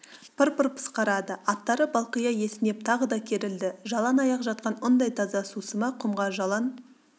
пыр-пыр пысқырады аттары балқия есінеп тағы да керілді жалаң аяқ жатқан ұндай таза сусыма құмға жалаң